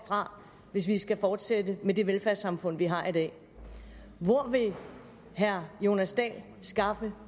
fra hvis vi skal fortsætte med det velfærdssamfund vi har i dag hvor vil herre jonas dahl skaffe